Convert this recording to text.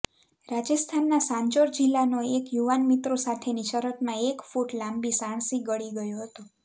રાજસ્થાનના સાંચોર જિલ્લાનો એક યુવાન મિત્રો સાથેની શરતમાં એક ફૂટ લાંબી સાણસી ગળી ગયો હતો